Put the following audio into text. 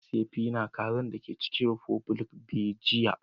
Na siya fi na kazan daga chicken republic be jiya.